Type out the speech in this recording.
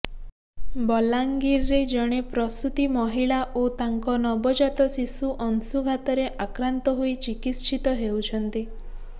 ବଲାଙ୍ଗୀରରେ ଜଣେ ପ୍ରସୂତି ମହିଳା ଓ ତାଙ୍କ ନବଜାତ ଶିଶୁ ଅଂଶୁଘାତରେ ଆକ୍ରାନ୍ତ ହୋଇ ଚିକିତ୍ସିତ ହେଉଛନ୍ତି